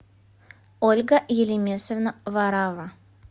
ольга елемесовна варавва